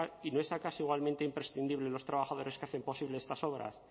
y no es acaso igualmente imprescindible los trabajadores que hacen posible estas obras